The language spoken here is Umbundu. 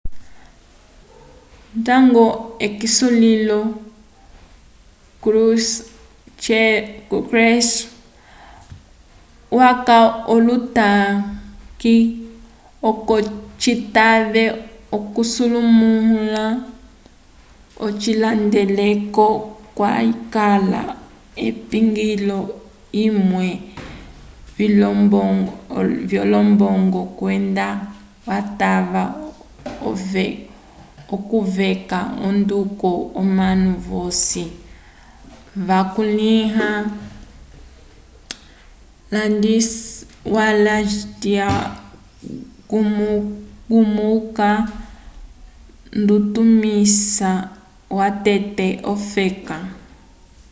ndañgo k'esulilo krushev waca olotanke oco citave okusemulũla ocihandeleko kwakala apingilo amwe vyolombongo kwenda watava okweca onduko omanu vosi vakulĩha wladyslaw gomulka ndutumisi watete wofeka